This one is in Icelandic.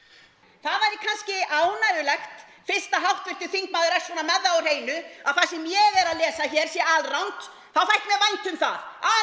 það væri kannski ánægjulegt fyrst að háttvirtur þingmaður er svona með það á hreinu að það sem ég er að lesa hér sé alrangt þá þætti mér vænt um það að